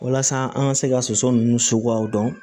Walasa an ka se ka soso ninnu suguyaw dɔn